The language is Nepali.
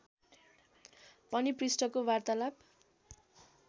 पनि पृष्ठको वार्तालाप